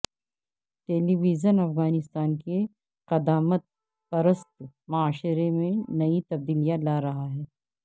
ٹیلی vision Afghanistan کے قدامت پرست معاشرے میں نئی تبدیلیاں لارہا ہے